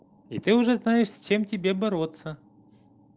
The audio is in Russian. и ты уже знаешь с чем тебе бороться